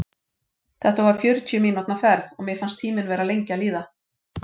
Þetta var fjörutíu mínútna ferð, og mér fannst tíminn vera lengi að líða.